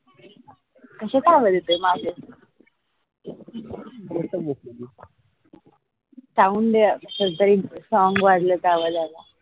कश्याचा आवाज येतोय मागे? sound काहीतरी song वाजल्या चा आवाज आला